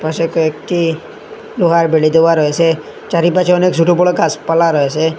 পাশে কয়েকটি লোহার বেরী দেওয়া রয়েছে চারিপাশে অনেক ছোট বড় গাছপালা রয়েছে।